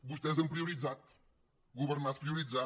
vostès han prioritzat governar és prioritzar